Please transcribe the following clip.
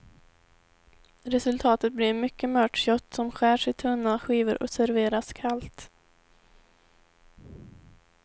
Resultatet blir ett mycket mört kött som skärs i tunna skivor och serveras kallt.